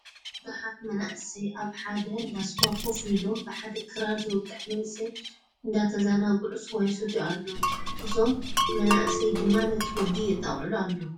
እዞም ቡዙሓት መናእሰይ ኣብ ሓደ እንዳስዋ ኮፍ ኢሎም ብሓደ ክራር ዝወቅዕ መንእሰይ ንዳተዘናግዑ ስዋ ይሰትዩ ኣለዉ። እዞም ማእሰይ ድማ ነቲ ወዲ የጣቅዕሉ ኣለዉ።